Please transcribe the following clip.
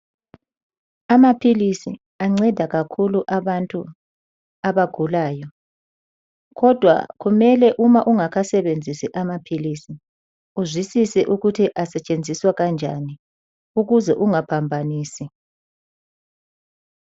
Amaphilisi anceda kakhulu abantu abagulayo kodwa kumele uma ungakasebenzisi amaphilisi uzwisise ukuthi asetshenziswa kanjani ukuze ungaphambanisi.